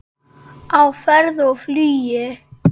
Á ferð og flugi